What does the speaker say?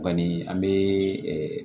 Kɔni an bɛ